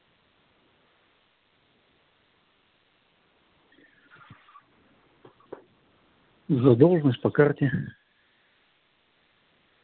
задолженность по карте